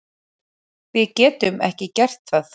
Við getum ekki gert það